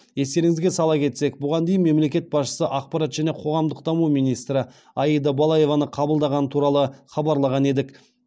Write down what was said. естеріңізге сала кетсек бұған дейін мемлекет басшысы ақпарат және қоғамдық даму министрі аида балаеваны қабылдағаны туралы хабарлаған едік